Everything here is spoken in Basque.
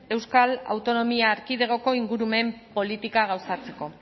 euskal autonomia erkidegoko ingurumen politika gauzatzeko